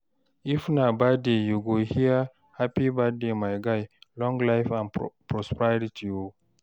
if na birthday yu go hear, "hapi birthday my guy, long life and prosperity o"